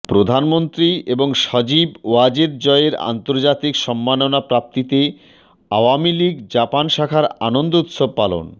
প্রধানমন্ত্রী এবং সজীব ওয়াজেদ জয়ের আন্তর্জাতিক সম্মাননা প্রাপ্তিতে আওয়ামী লীগ জাপান শাখার আনন্দ উৎসব পালন